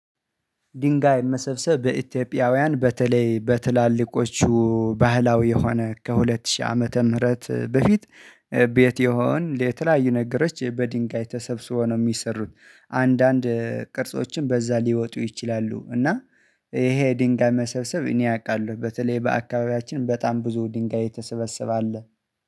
ድንጋይ መሰብሰብ በኢትዮጵያውያን በተለይ በትላልቆቹ ባህላዊ የሆነ ከሁለት ሺህ ዓመተ ምህረት በፊት ቤት የሆን የተለያዩ ነገሮች በድንጋይ ተሰብስቦ ነው የሚሰሩት አንዳንድ ቅርጾችን በዛ ሊያወጡ ይችላሉ። እና ይሄ ድንጋይ መሰብሰብ እኔ አውቃለሁ በተለይ በአካባቢያችን በጣም ብዙ ድንጋይ የተሰበሰባ አለ